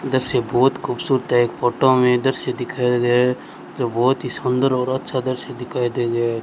इधर से बहोत खूबसूरत है एक फोटो मे इधर से दिखाया गया है जो बहोत ही सुंदर और अच्छा दृश्य दिखाई दे रहा --